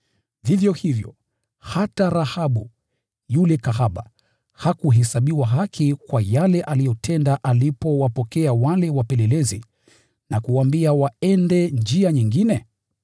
Vivyo hivyo, hata Rahabu, yule kahaba, hakuhesabiwa haki kwa yale aliyotenda alipowapokea wale wapelelezi na kuwaambia waende njia nyingine?